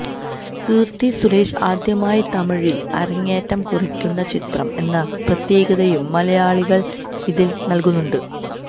കീര്ത്തി സുരേഷ് ആദ്യമായി തമിഴില് അരങ്ങേറ്റം കുറിക്കുന്ന ചിത്രം എന്ന പ്രത്യേകതയും മലയാളികള് ഇതിന് നല്കുന്നുണ്ട്